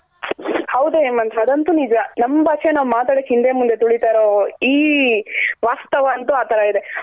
ಅವ್ದ್ ಹೇಮಂತ್ ಅದೊಂತು ನಿಜ ನಮ್ ಭಾಷೆ ನಾವ್ ಮಾತಾಡೋಕ್ ಹಿಂದೆ ಮುಂದೆ ತಿಳಿತಾ ಇರೋ ಈ ವಸ್ತಾವವಂತೂ ಆ ತರ ಇದೆ .